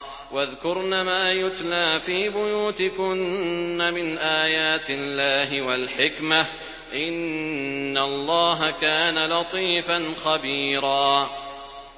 وَاذْكُرْنَ مَا يُتْلَىٰ فِي بُيُوتِكُنَّ مِنْ آيَاتِ اللَّهِ وَالْحِكْمَةِ ۚ إِنَّ اللَّهَ كَانَ لَطِيفًا خَبِيرًا